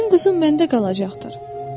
“Sənin quzun məndə qalacaqdır.